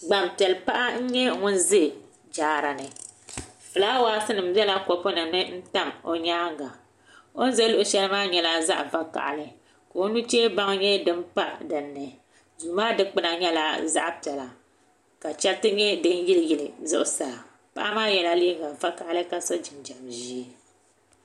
Gbanpiɛli paɣa n nyɛ ŋun ʒɛ jaara ni fulaawaasi nim biɛla kopu nim ni n tam o nyaanga o ni ʒɛ luɣu shɛli maa nyɛla zaɣ vakaɣali ka o nu chɛ baŋ nyɛ din pa dinni duu maa dikpuna nyɛla zaɣ piɛla ka chɛriti nyɛ din yiliyili zuɣusaa paɣa maa yɛla liiga vakaɣili ka so jinjɛm ʒiɛ